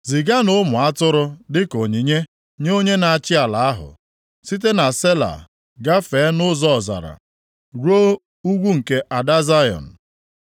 Ziganụ ụmụ atụrụ dịka onyinye nye onye na-achị ala ahụ site na Sela, gafee nʼụzọ ọzara ruo ugwu nke Ada Zayọn.